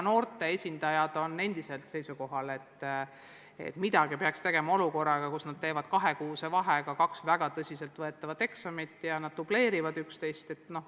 Noorte esindajad on endiselt seisukohal, et midagi peaks tegema olukorras, kus nad teevad kahekuuse vahega kaks väga tõsiseltvõetavat eksamit, mis dubleerivad üksteist.